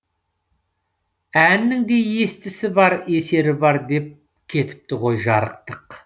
әннің де естісі бар есері бар деп кетіпті ғой жарықтық